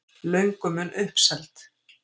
Löngu mun uppselt